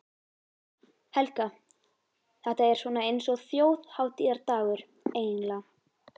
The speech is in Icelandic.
Helga: Þetta er svona eins og þjóðhátíðardagur, eiginlega?